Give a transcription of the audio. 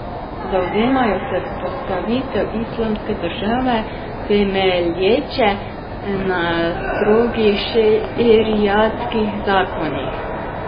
Zavzemajo se vzpostavitev islamske države, temelječe na strogih šeriatskih zakonih.